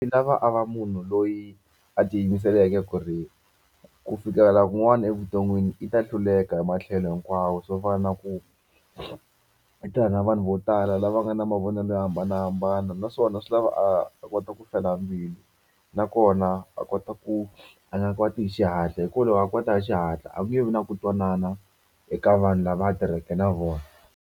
Swi lava a va munhu loyi a tiyimiseleke ku ri ku fikelela kun'wana evuton'wini i ta hluleka hi matlhelo hinkwawo swo fana na ku na vanhu vo tala lava nga na mavonelo yo hambanahambana naswona swi lava a kota ku fela mbilu nakona a kota ku a nga kwati hi xihatla hi ku loko a kwata hi xihatla a ku nge vi na ku twanana eka vanhu lava a tirhaka na vona.